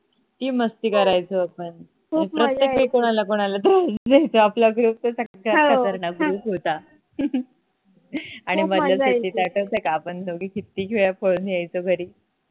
किती मस्ती करायचो आपण आण प्रत्येक वेळ कोणाला न कोणाला तरी उचलायचो आपला group तर सगळ्यात खतरनाक group होता आणि मधल्या सुट्टीत आठवत का आपण दोघी किती वेळा पळून यायचो घरी